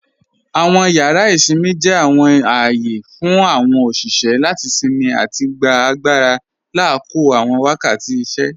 Awọn yàrà isinmí jẹ́ awọn ààyè fún awọn oṣiṣẹ́ láti sinmí àti gbà agbàra lákọ̀ọ̀ awọn wakàtí ìṣẹ́.